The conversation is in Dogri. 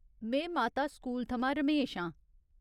में माता स्कूल थमां रमेश आं।